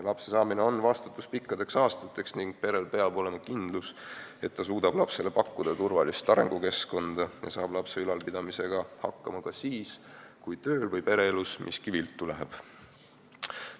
Lapse saamine tähendab vastutust pikkadeks aastateks ning perel peab olema kindlus, et ta suudab lapsele pakkuda turvalist arengukeskkonda ja saab lapse ülalpidamisega hakkama ka siis, kui tööl või pereelus miski viltu läheb.